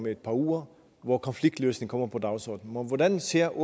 et par uger hvor konfliktløsning kommer på dagsordenen hvordan ser